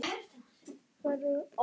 Varla Guð einu sinni!